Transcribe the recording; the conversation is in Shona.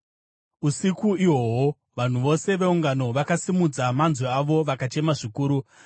Usiku ihwohwo vanhu vose veungano vakasimudza manzwi avo vakachema zvikuru.